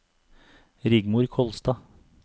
Rigmor Kolstad